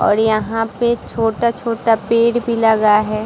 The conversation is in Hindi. और यहाँ पे छोटा-छोटा पेड़ भी लगा है।